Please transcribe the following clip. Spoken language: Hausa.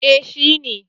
Eh shi ne.